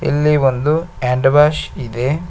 ಇಲ್ಲಿ ಒಂದು hand wash ಇದೆ.